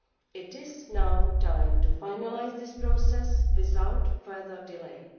It is now time to finalise this process without further delay.